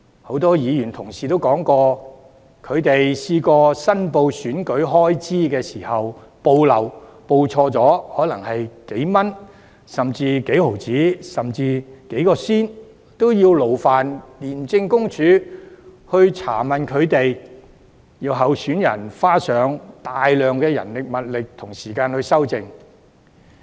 很多議員同事亦提及，他們申報選舉開支時曾經漏報、錯誤申報可能只是幾元、幾角甚至幾仙，也要勞煩廉政公署查問，要求候選人花上大量人力物力和時間去修正。